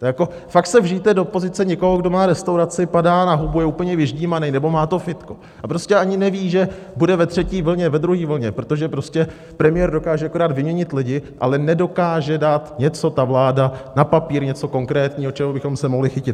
To jako fakt se vžijte do pozice někoho, kdo má restauraci, padá na hubu, je úplně vyždímaný, nebo má to fitko a prostě ani neví, že bude ve třetí vlně, ve druhé vlně, protože prostě premiér dokáže akorát vyměnit lidi, ale nedokáže dát něco ta vláda na papír, něco konkrétního, čeho bychom se mohli chytit.